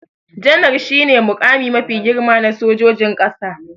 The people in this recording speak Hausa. Janar shi ne muƙami mafi girma na sojojin ƙasa